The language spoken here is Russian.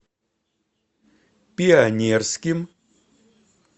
пионерским